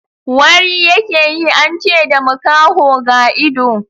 Wari ya ke yi, an ce da makaho ga ido